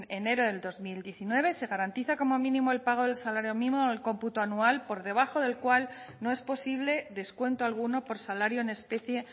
enero del dos mil diecinueve se garantiza como mínimo el pago del salario mínimo del cómputo anual por debajo del cual no es posible descuento alguno por salario en especie